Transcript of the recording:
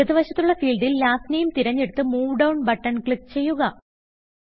ഇടത് വശത്തുള്ള ഫീൽഡിൽ നിന്നും ലാസ്റ്റ് Nameതിരഞ്ഞെടുത്ത് മൂവ് ഡൌൺ ബട്ടൺ ക്ലിക്ക് ചെയ്യുക